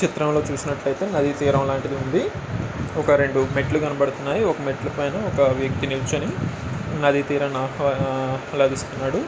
ఈ చిత్రం లో చూసినట్లయితే నది తీరం లాంటిది ఉంది ఒక రెండు మెట్లు కనపడతన్నాయి ఒక మెట్లు పైన ఒక వ్యక్తి నిల్చొని నది తీరాన్ని ఆహ్వా-ఆహ్లదిస్తున్నాడు.